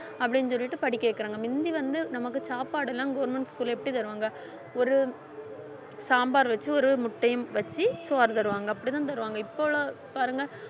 அப்படின்னு சொல்லிட்டு படிக்க வைக்கிறாங்க முந்தி வந்து நமக்கு சாப்பாடு எல்லாம் government school ல எப்படி தருவாங்க ஒரு சாம்பார் வச்சு ஒரு முட்டையும் வச்சு சோறு தருவாங்க அப்படிதான் தருவாங்க இப்போ உள்ளவங்க பாருங்க